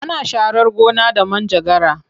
Ana sharar gona da manjagara.